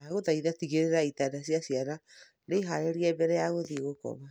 ndagũthaitha tigĩrĩra itanda cia ciana ni haarĩrie mbere ya gũthiĩ gũkoma.